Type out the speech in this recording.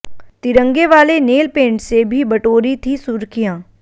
तिरंगे वाले नेलपेंट से भी बटोरीं थी सुर्खियां